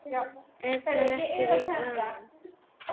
Er það ekki vaninn?